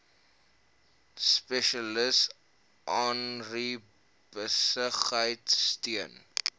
spesialis agribesigheid steun